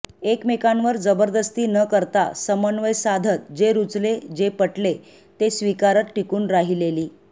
एकमेकांवर जबरदस्ती न करता समन्वय साधत जे रुचले जे पटले ते स्वीकारत टिकून राहिलेली